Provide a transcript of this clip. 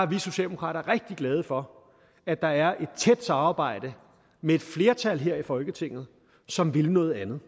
vi socialdemokrater rigtig glade for at der er et tæt samarbejde med et flertal her i folketinget som vil noget andet